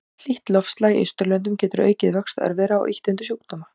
Hlýtt loftslag í Austurlöndum getur aukið vöxt örvera og ýtt undir sjúkdóma.